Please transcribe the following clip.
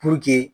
Puruke